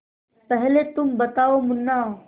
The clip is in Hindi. पहले तुम बताओ मुन्ना